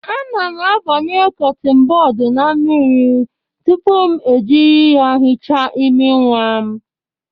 Ana m abanye kọtịn bọd na mmiri tupu m jiri ya hichaa imi nwa m